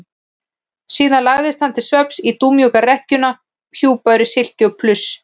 Síðan lagðist hann til svefns í dúnmjúka rekkjuna hjúpaður í silki og pluss.